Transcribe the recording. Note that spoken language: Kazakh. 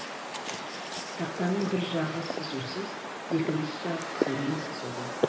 тақтаның бір жағы сызусыз екінші жағы қызылмен сызулы